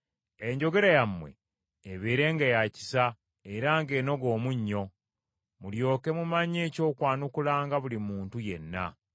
Enjogera yammwe ebeerenga ya kisa, era ng’enoga omunnyo, mulyoke mumanye eky’okwanukulanga buli muntu yenna.